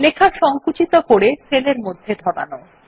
লেখা সংকুচিত করে সেলের মধ্যে ধরানো